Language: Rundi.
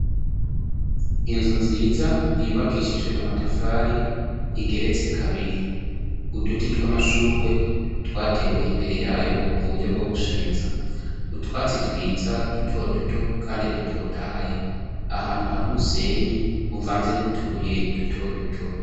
Inzu nziza, yubakishijwe amatafari igeretse kabiri ,uduti tw'amashugwe twatewe imbere yayo mu buryo bwo gushariza ,utwatsi twiza duto duto kandi dutotahaye ,ahantu hari umusenyi uvanze n'utubuye duto duto.